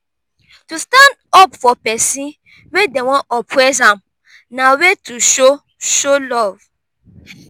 to stand up for persin wey dem won oppress am na way to show show love